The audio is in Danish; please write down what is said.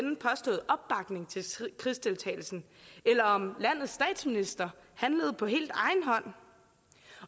krigsdeltagelsen eller om landets statsminister handlede på helt egen hånd